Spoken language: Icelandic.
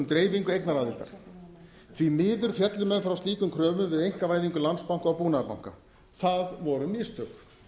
dreifingu eignaraðildar því miður féllu menn frá slíkum kröfum við einkavæðingu landsbanka og búnaðarbanka það voru mistök